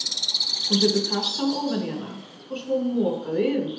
Hún setur kassann ofan í hana og svo moka þau yfir.